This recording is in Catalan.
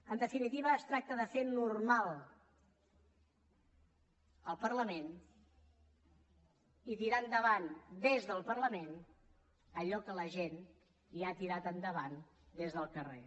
en definitiva es tracta de fer normal al parlament i tirar endavant des del parlament allò que la gent ja ha tirat endavant des del carrer